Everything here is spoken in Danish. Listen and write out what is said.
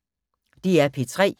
DR P3